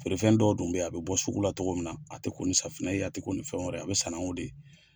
Feerefɛn dɔw dun bɛ yen, a bɛ bɔ sugu la tɔgɔ min na, a tɛ ko safunɛ la, a tɛ ko ni fɛn wɛrɛ ye, a bɛ sanango de.